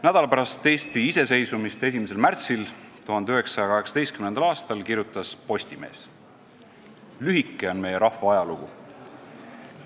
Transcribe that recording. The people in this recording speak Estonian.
Nädal pärast Eesti iseseisvumist, 1. märtsil 1918. aastal kirjutas Postimees: "Lühike on meie rahva ajalugu.